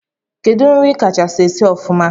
Kedu nri ikacha esi ofụma?